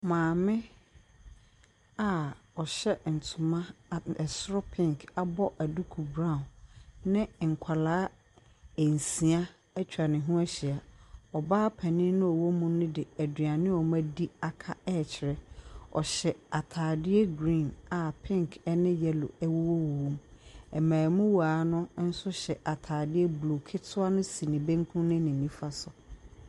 Maame a ɔhyɛ ntoma. Ɛsoro pink ɛna ɛfam brawn ɛna nkwalaa ɛnsia ɛtwa ne ho ahyia. Ɔbaa panin no a ɔwɔ mu no de aduane a ɔm'adi aka ɛɛkyerɛ. Ɔhyɛ ataadeɛ griin a pink ɛne yɛlo ɛwowɔ wowɔmu. Mmɛmuwaa no nso hyɛ ataadeɛ bluu. Ketewa no si ne benkum ne ne nifa so.